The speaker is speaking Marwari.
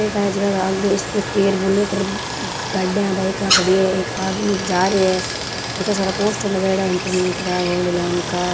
ये टायर आगे स्कूटी और बुलेट गाड़ियां बाईक खड़ी है एक आदमी जा रहे है इत्ता सारा पोस्टर लगायड़ा है इंटरनेट का गोल्ड लोन का।